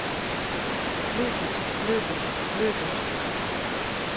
løbet løbet løbet